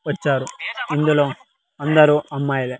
వచ్చారు ఇందులో అందరూ అమ్మాయిలే.